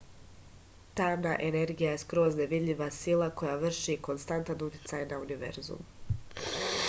tamna energija je skroz nevidljiva sila koja vrši konstantan uticaj na univerzum